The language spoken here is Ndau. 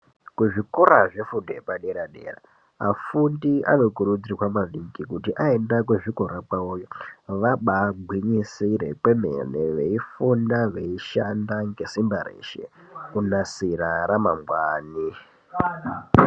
Kuzvikora zvegundo yepadera dera afundi anokurudzirwa maningi kuti aenda kuzvikora kwawoyo vabagwinyisire kwemene veifunda veishanda ngesimba reshe kunasira ramangwani.